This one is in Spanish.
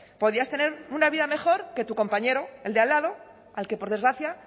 podías tener una vida mejor que tu compañero el de al lado al que por desgracia